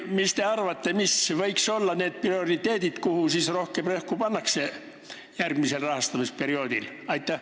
Mis te arvate, mis võiks olla need prioriteedid ja millele rohkem rõhku pannakse järgmisel rahastamisperioodil?